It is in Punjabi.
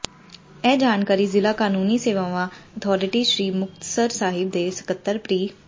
ਇਹ ਜਾਣਕਾਰੀ ਜ਼ਿਲ੍ਹਾ ਕਾਨੂੰਨੀ ਸੇਵਾਵਾਂ ਅਥਾਰਟੀ ਸ੍ਰੀ ਮੁਕਤਸਰ ਸਾਹਿਬ ਦੇ ਸਕੱਤਰ ਪਿ੍